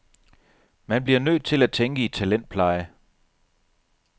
Man bliver nødt til at tænke i talentpleje.